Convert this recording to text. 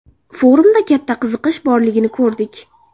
Forumda katta qiziqish borligini ko‘rdik.